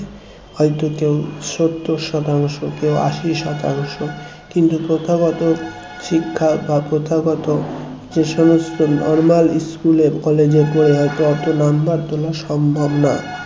হয়তো কেউ সত্তর শতাংশ কেউ আশি শতাংশ প্রথাগত শিক্ষা বা প্রথাগত যে সমস্ত normal school college এ পড়ে হয়তো অত number তোলা সম্ভব না